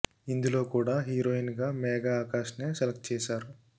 ఇందులో కూడా హీరోయిన్ గా మేఘా ఆకాష్ నే సెలక్ట్ చేశారు